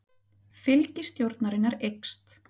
Fylgi stjórnarinnar eykst